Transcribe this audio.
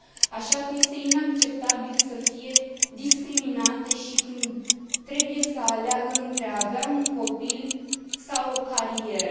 Așa că este inacceptabil să fie discriminate și când trebuie să aleagă între a avea un copil sau o carieră.